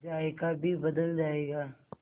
जायका भी बदल जाएगा